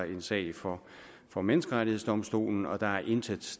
en sag for for menneskerettighedsdomstolen og der er intet